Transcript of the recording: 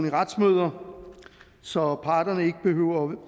i retsmøder så parterne ikke behøver